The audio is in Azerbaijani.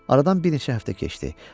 Aradan bir neçə həftə keçdi.